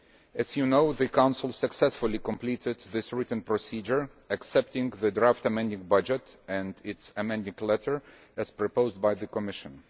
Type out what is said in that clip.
As you know, the Council successfully completed this written procedure, accepting the draft amending budget and its amending letter, as proposed by the Commission.